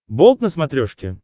болт на смотрешке